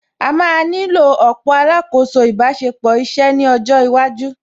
À má nílò ọ̀pọ̀ alákòóso ìbáṣepọ̀ iṣẹ́ ní ọjọ́ iwájú